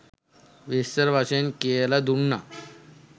විස්තර වශයෙන් කියල දුන්නා.